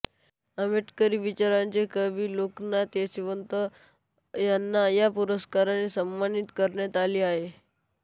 आंबेडकरी विचारांचे कवी लोकनाथ यशवंत यांना या पुरस्काराने सन्मानित करण्यात आले आहे